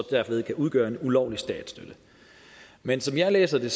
kan udgøre en ulovlig statsstøtte men som jeg læser det